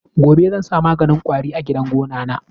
Gobe zan sa maganin kwari a gidan gonana.